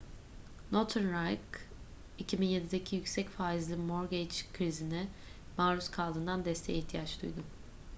northern rock 2007'deki yüksek faizli mortgage krizine maruz kaldığından desteğe ihtiyaç duydu